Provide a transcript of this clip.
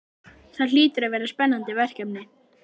Það hlýtur að vera spennandi verkefni?